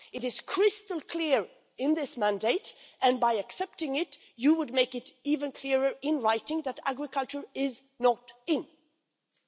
It is crystal clear in this mandate and by accepting it, you would make it even clearer in writing that agriculture is not included in the negotiations.